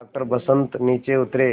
doctor Vasant नीचे उतरे